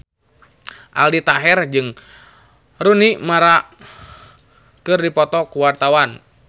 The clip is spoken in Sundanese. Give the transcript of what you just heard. Aldi Taher jeung Rooney Mara keur dipoto ku wartawan